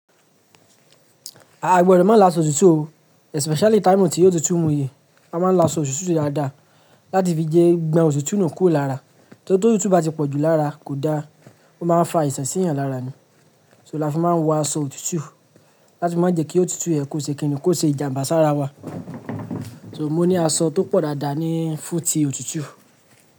Àá gbọdọ mà́ lo asọ òtútù o, especially time tí òtútù mú yi, a máa ń lo asọ òtútù dáadáa, láti fi jẹ́ gbon òtútù nuu kúro lara. T'òtútù bá ti pọ̀ jù lára, kò dáa, ó máa ń fa àìsàn sí èeyan lára ni. So láfì máa ń wọ aṣọ òtútù, láti má jẹ́ kí òtútù yẹn kò ṣe kínì? Koṣe ìjàm̀bá sára wa. So mó ni aṣọ tó pọ̀ dáadáa ní fún ti òtútù.